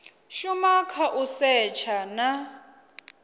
shuma kha u setsha na